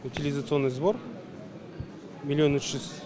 утилизационный сбор миллион үш жүз